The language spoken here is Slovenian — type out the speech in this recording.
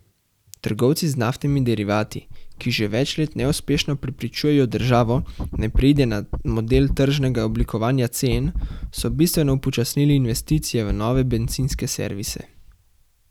Trgovci z naftnimi derivati, ki že več let neuspešno prepričujejo državo, naj preide na model tržnega oblikovanja cen, so bistveno upočasnili investicije v nove bencinske servise.